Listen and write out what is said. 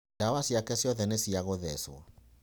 Ndawa ciake ciothe nĩ cia gũthewo.